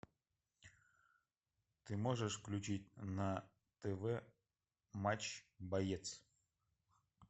ты можешь включить на тв матч боец